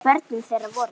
Börn þeirra voru